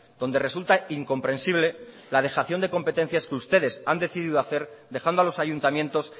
donde resulta incomprensible la dejación de competencias que ustedes han decidido hacer dejando a los ayuntamientos